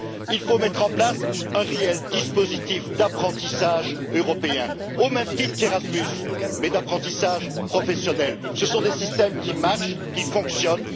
Il faut mettre en place un réel dispositif d'apprentissage européen, au même titre qu'Erasmus, mais d'apprentissage professionnel. Ce sont des systèmes qui marchent et qui fonctionnent.